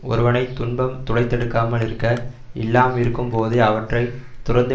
ஒருவனை துன்பம் துளைத்தெடுக்காமல் இருக்க எல்லாம் இருக்கும் போதே அவற்றை துறந்து